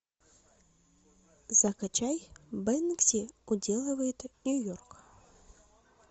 закачай бэнкси уделывает нью йорк